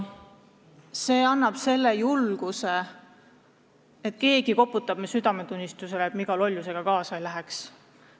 See annab garantii, et keegi koputab meie südametunnistusele, et me iga lollusega kaasa ei läheks.